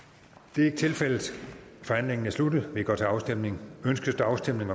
det er ikke tilfældet forhandlingen er sluttet og vi går til afstemning afstemning